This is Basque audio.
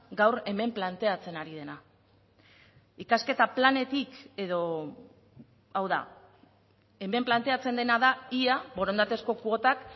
gaur hemen planteatzen ari dena ikasketa planetik edo hau da hemen planteatzen dena da ia borondatezko kuotak